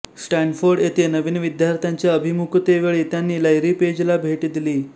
Stanford येथे नवीन विद्यार्थ्यांच्या अभिमुखतेवेळी त्यांनी लैरी पेजला भेट दिली